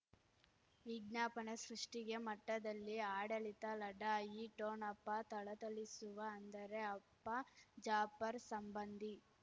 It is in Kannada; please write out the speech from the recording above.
ವಿಜ್ಞಾಪನೆ ಸೃಷ್ಟಿಗೆ ಮಠದಲ್ಲಿ ಆಡಳಿತ ಲಢಾಯಿ ಠೊಣಪ ಥಳಥಳಿಸುವ ಅಂದರೆ ಅಪ್ಪ ಜಾಪರ್ ಸಂಬಂಧಿ